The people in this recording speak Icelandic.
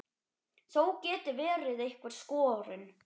Þó geti verið einhver skörun.